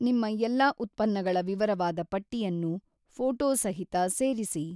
ನಿಮ್ಮ ಎಲ್ಲಾ ಉತ್ಪನ್ನಗಳ ವಿವರವಾದ ಪಟ್ಟಿಯನ್ನು ಫೋಟೊಸಹಿತ ಸೇರಿಸಿ.